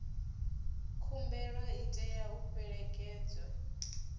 khumbelo i tea u fhelekedzwa